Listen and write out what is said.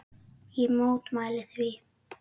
Ég mótmæli því.